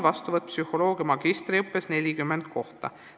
Kokku ongi psühholoogia magistriõppes 40 kohta.